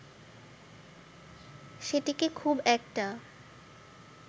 সেটিকে খুব একটা